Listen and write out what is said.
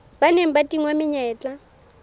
ba neng ba tingwa menyetla